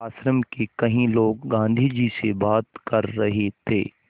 आश्रम के कई लोग गाँधी जी से बात कर रहे थे